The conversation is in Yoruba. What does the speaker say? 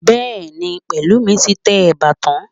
Bẹ́ẹ̀ni, Pẹ̀lúmi ti tẹ ẹ̀bà tán